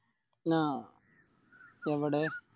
അഹ് എവിടെ